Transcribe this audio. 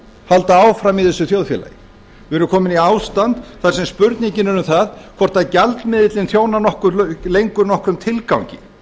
halda áfram í þessu þjóðfélagi við erum komin í ástand þar sem spurningin er um það hvort gjaldmiðillinn þjónar lengur nokkrum tilgangi